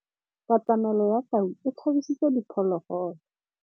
Katamêlô ya tau e tshabisitse diphôlôgôlô.